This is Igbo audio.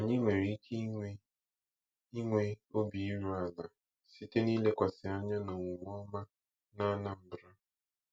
Anyị nwere ike inwe inwe obi iru ala site n'ilekwasị anya na omume ọma na Anambra.